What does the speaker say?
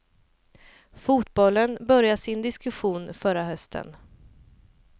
Fotbollen började sin diskussion förra hösten.